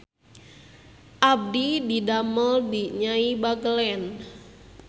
Abdi didamel di Nyai Bagelen